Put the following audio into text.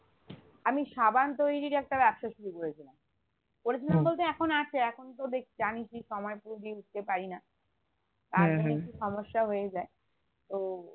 আমি সাবান তৈরির একটা ব্যবসা শুরু করেছিলাম করেছিলাম বলতে এখন আছে এখনতো দ্যাখ জানিসই সময় পুরো দিয়ে উঠতে পারিনা সমস্যা হয়ে যায় তো